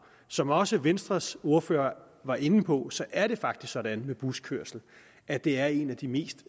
som også venstres ordfører var inde på er det faktisk sådan med buskørsel at det er en af de mest